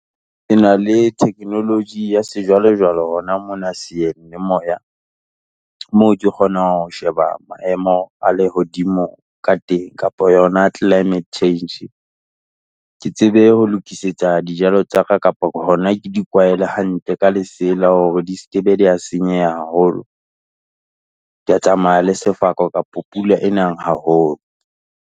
Ke na le theknoloji ya sejwalejwale hona mona seyeng le moya, moo ke kgonang ho sheba maemo a lehodimo ka teng, kapo yona climate change. Ke tsebe ho lokisetsa dijalo tsa ka kapo hona ke di kwaele hantle ka lesela hore di ske be di ya senyeha haholo. Tsamaya le sefako kapo pula e nang haholo.